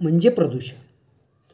म्हणजे प्रदूषण.